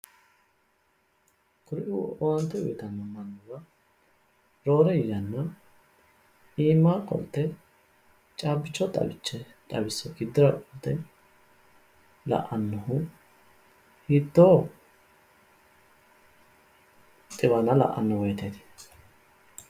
Kuriuu owaante uyitanno manniwa roore yanna iima qolte caabbicho xawisse giddora qolte la'annohu hiittoo xiwana la'anno woyiteeti